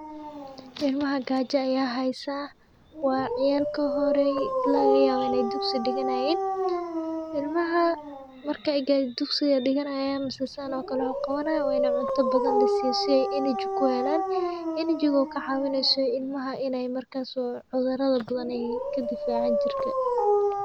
Ilmaha gaja aya haysa waa ciyal kohorey lagayaba inay dugsi diganayin ,ilmaha markay dugsi diganayin mise san o kale wax uqababayin waa inay cuntabadan lasiyo energy ,kuhelan energy o kacawineyso ilmaha inay markas o cudurada badan ay Kadifaco jirka.